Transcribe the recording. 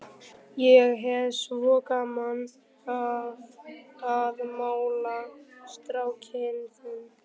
Ég hef svo gaman af að mála strákinn þinn.